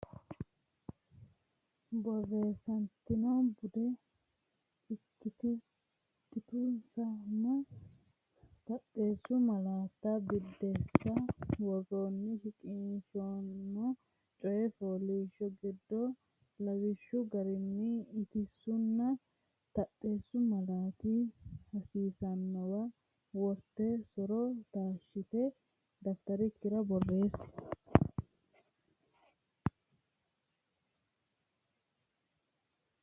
Borreessate Bude: Ittisunna Taxxeessu Malaatta Biddissa Woroonni shiqqino coy fooliishsho giddo lawishshu garinni ittisunna taxxeessu malaati hasiissannowa worte so’ro taashshite dafitarikkira borreessi.